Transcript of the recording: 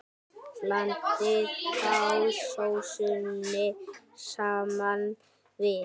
Blandið þá sósunni saman við.